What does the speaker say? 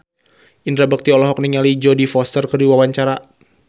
Indra Bekti olohok ningali Jodie Foster keur diwawancara